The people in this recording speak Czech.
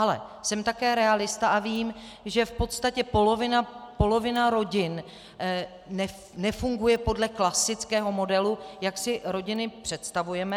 Ale jsem také realista a vím, že v podstatě polovina rodin nefunguje podle klasického modelu, jak si rodiny představujeme.